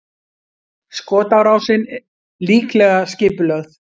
Skotárásin líklega skipulögð